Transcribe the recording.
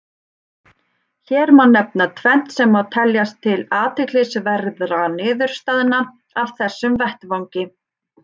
Hér má nefna tvennt sem má telja til athyglisverðra niðurstaðna af þessum vettvangi.